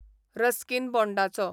Ruskin बॉण्डाचो